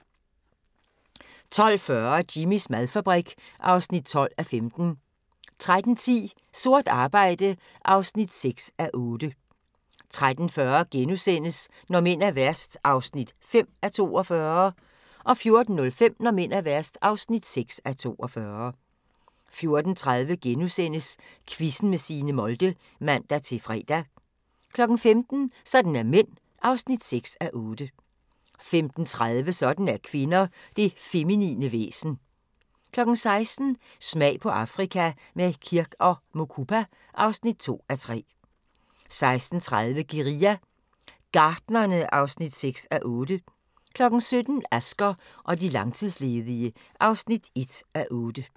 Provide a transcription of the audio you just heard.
12:40: Jimmys madfabrik (12:15) 13:10: Sort arbejde (6:8) 13:40: Når mænd er værst (5:42)* 14:05: Når mænd er værst (6:42) 14:30: Quizzen med Signe Molde *(man-fre) 15:00: Sådan er mænd (6:8) 15:30: Sådan er kvinder - det feminine væsen 16:00: Smag på Afrika – med Kirk & Mukupa (2:3) 16:30: Guerilla Gartnerne (6:8) 17:00: Asger og de langtidsledige (1:8)